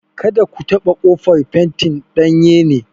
Kada ku taɓa ƙofar; fentin danye ne!